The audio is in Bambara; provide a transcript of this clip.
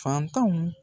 Fantanw